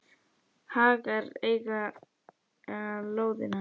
Hagar eiga lóðina.